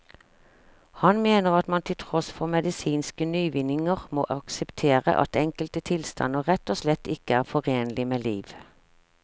Han mener at man til tross for medisinske nyvinninger må akseptere at enkelte tilstander rett og slett ikke er forenlig med liv.